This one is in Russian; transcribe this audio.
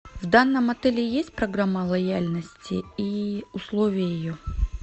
в данном отеле есть программа лояльности и условия ее